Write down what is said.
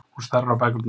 Hún starir á bækurnar.